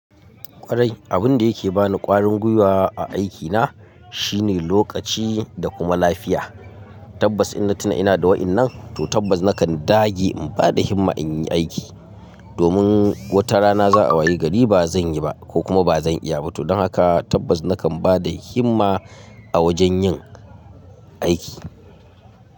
Kwarai abin da yake bani kwarin gwiwa a aikina shine lokaci da kuma lafiya. Tabbas inna tuna ina da wa'inan to tabbas nakan dage in bada himma in yi aiki. Domin wata rana za'a waye gari ba zan yi ba ko kuma ba zan iya ba. To don haka tabbas nakan bada himma a wajen yin aiki.